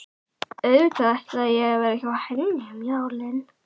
Auðvitað ætlaði ég að vera hjá henni um jólin.